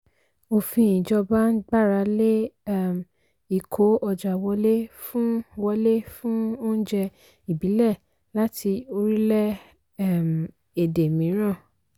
òfin ìjọba ń gbàrà lé um ìkó ọjà wọlé fún wọlé fún oúnjẹ ìbílẹ̀ láti orílẹ̀ um èdè mìíràn.